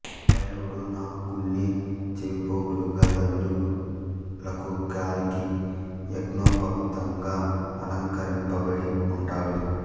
భైరవుడు నాగుల్ని చెవిపోగులుగా దండలకు కాలికి యజ్ఞోపవీతంగా అలంకరింబడి ఉంటాడు